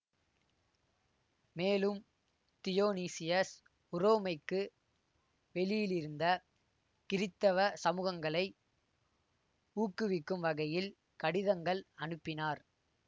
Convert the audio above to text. மேலும் தியோனீசியஸ் உரோமைக்கு வெளியிலிருந்த கிறித்தவ சமூகங்களை ஊக்குவிக்கும் வகையில் கடிதங்கள் அனுப்பினார்